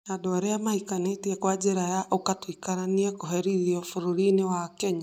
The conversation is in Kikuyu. Andu aria mahikanitie kwa njira ya ''uka tuikaranie'' kũherithio bũrũri-inĩ wa Kenya